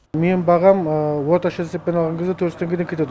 менің бағам орташа есеппен алған кезде төрт жүз теңгеден кетеді